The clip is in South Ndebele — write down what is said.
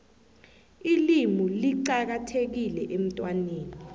ilimu licakathekile emntwaneni